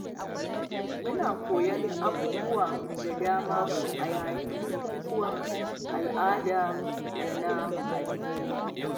Muna koyon abubuwa da dama a yayin bukukuwan al'ada da na addini.